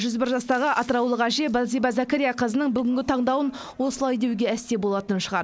жүз бір жастағы атыраулық әже балзиба зәкәрияқызының бүгінгі таңдауын осылай деуге әсте болатын шығар